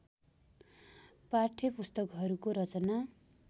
पाठ्यपुस्तकहरूको रचना